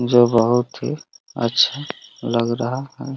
जो बहुत ही अच्छा लग रहा है।